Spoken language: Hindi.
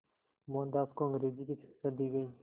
मोहनदास को अंग्रेज़ी की शिक्षा दी गई